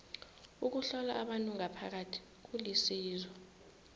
ukuhlola abantu ngaphakathi kulisizo